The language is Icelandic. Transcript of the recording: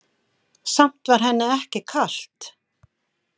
Samt var henni ekki kalt.